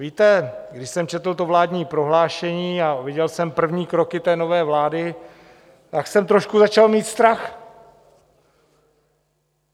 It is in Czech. Víte, když jsem četl to vládní prohlášení a viděl jsem první kroky té nové vlády, tak jsem trošku začal mít strach.